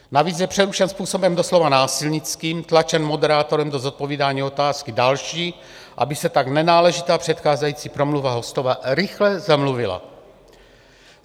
Navíc je přerušen způsobem doslova násilnickým, tlačen moderátorem do zodpovídání otázky další, aby se tak nenáležitá předcházející promluva hostova rychle zamluvila.